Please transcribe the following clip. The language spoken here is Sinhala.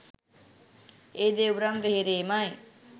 ඒ දෙව්රම් වෙහෙරේමයි